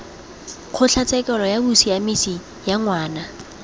kgotlatshekelo ya bosiamisi ya ngwana